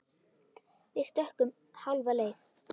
Við stukkum hálfa leið.